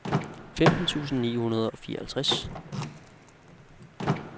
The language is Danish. femten tusind ni hundrede og fireoghalvtreds